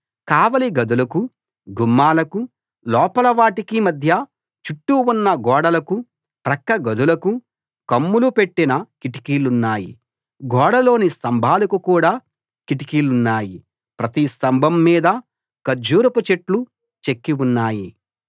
కావలి గదులకు గుమ్మాలకు లోపల వాటికి మధ్య చుట్టూ ఉన్న గోడలకు ప్రక్కగదులకు కమ్ములు పెట్టిన కిటికీలున్నాయి గోడలోని స్తంభాలకు కూడా కిటికీలున్నాయి ప్రతి స్తంభం మీదా ఖర్జూరపు చెట్లు చెక్కి ఉన్నాయి